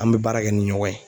An bɛ baara kɛ ni ɲɔgɔn ye.